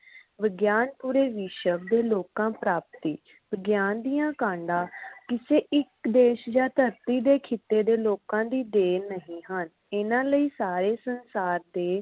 ਵਿਗਿਆਨ ਪੂਰੇ ਵਿਸ਼ਵ ਦੀ ਲੋਕਾਂ ਪ੍ਰਾਪਤੀ। ਵਿਗਿਆਨ ਦੀਆ ਕਾਂਡਾ ਕਿਸੇ ਇਕ ਦੇਸ਼ ਜਾ ਧਰਤੀ ਦੇ ਖਿੱਤੇ ਦੇ ਲੋਕਾਂ ਦੀ ਦੇਣ ਨਹੀਂ ਹਨ। ਇਹਨਾਂ ਲਈ ਸਾਰੇ ਸੰਸਾਰ ਦੇ